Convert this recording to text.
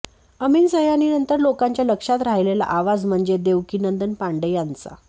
अमीन सयानीनंतर लोकांच्या लक्षात राहिलेला आवाज म्हणजे देवकीनंदन पांडे यांचा